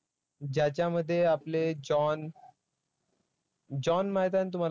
ज्याच्यामध्ये आपले zone zone माहिती आहे ना तुम्हाला?